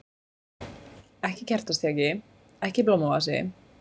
Ekki kertastjaki, ekki blómavasi.